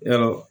Yarɔ